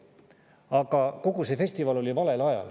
Aga kogu see festival oli valel ajal.